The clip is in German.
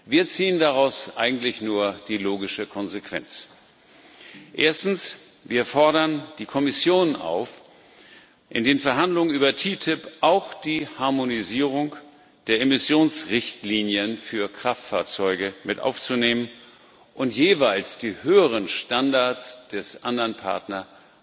Wir ziehen daraus eigentlich nur die logische Konsequenz Wir fordern die Kommission auf, in die Verhandlungen über TTIP auch die Harmonisierung der Emissionsrichtlinien für Kraftfahrzeuge mit aufzunehmen und jeweils die höheren Standards des anderen Partners